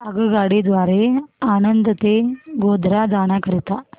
आगगाडी द्वारे आणंद ते गोध्रा जाण्या करीता